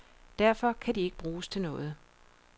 Derfor kan de ikke bruges til noget.